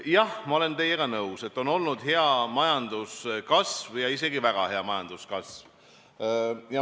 Jah, ma olen teiega nõus, et on olnud hea majanduskasv ja isegi väga hea majanduskasv.